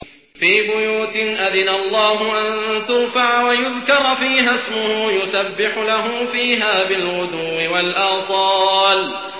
فِي بُيُوتٍ أَذِنَ اللَّهُ أَن تُرْفَعَ وَيُذْكَرَ فِيهَا اسْمُهُ يُسَبِّحُ لَهُ فِيهَا بِالْغُدُوِّ وَالْآصَالِ